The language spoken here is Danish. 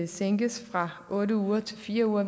sænkes fra otte uger til fire uger